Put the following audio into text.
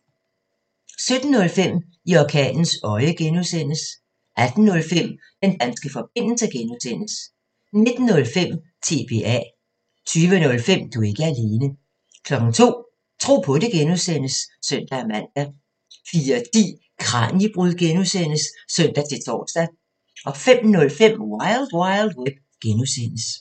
17:05: I orkanens øje (G) 18:05: Den danske forbindelse (G) 19:05: TBA 20:05: Du er ikke alene 02:00: Tro på det (G) (søn-man) 04:10: Kraniebrud (G) (søn-tor) 05:05: Wild Wild Web (G)